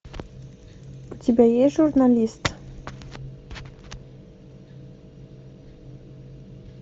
у тебя есть журналист